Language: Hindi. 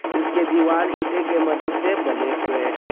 इसके दीवाल ईंटे की मदद से बने हुए है।